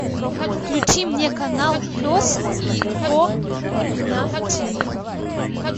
включи мне канал пес и ко на тв